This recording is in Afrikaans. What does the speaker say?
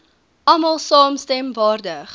almal saamstem waardig